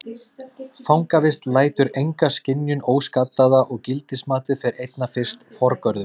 Fangavist lætur enga skynjun óskaddaða og gildismatið fer einna fyrst forgörðum.